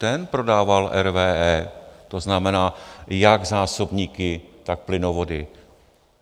Ten prodával RWE, to znamená jak zásobníky, tak plynovody.